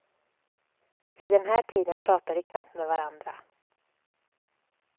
Vid den här tiden pratar de knappt med varandra.